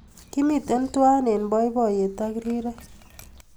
Kimitei tuwai eng boiboiyet ak rirek